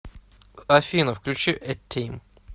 афина включи э тим